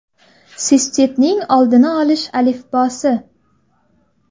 Sistitning oldini olish alifbosi.